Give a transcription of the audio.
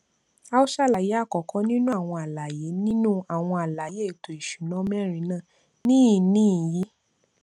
à ó ṣàlàyé àkọkọ nínú àwọn àlàyé nínú àwọn àlàyé èẹto ìsúná mẹrin náà níhìnín yi